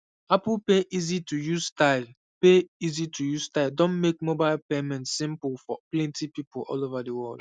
apple pay easytouse style pay easytouse style don make mobile payment simple for plenty people all over the world